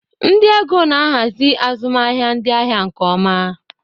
Ndị ego na-ahazi azụmahịa ndị ahịa nke ọma.